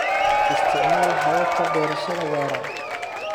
Isticmaal hababka beerashada waara.